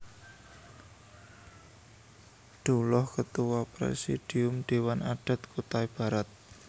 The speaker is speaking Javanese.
Dullah Ketua Presidium Dewan Adat Kutai Barat